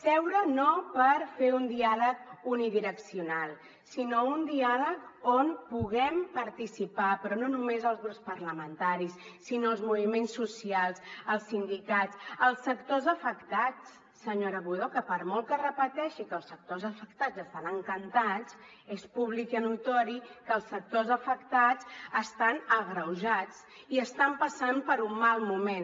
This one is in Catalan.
seure no per fer un diàleg unidireccional sinó un diàleg on puguem participar però no només els grups parlamentaris sinó els moviments socials els sindicats els sectors afectats senyora budó que per molt que repeteixi que els sectors afectats estan encantats és públic i notori que els sectors afectats estan agreujats i estan passant per un mal moment